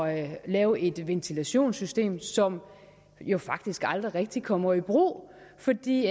at lave et ventilationssystem som jo faktisk aldrig rigtig kommer i brug fordi